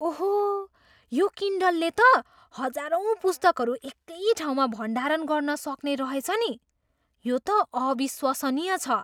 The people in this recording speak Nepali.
ओहो, यो किन्डलले त हजारौँ पुस्तकहरू एकै ठाउँमा भण्डारण गर्न सक्ने रहेछ नि। यो त अविश्वसनीय छ!